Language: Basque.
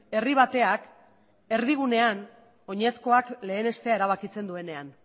herri bateak erdigunean oinezkoak lehenestea erabakitzen duenean